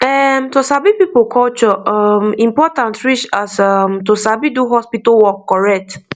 erm to sabi people culture um important reach as um to sabi do hospital work correct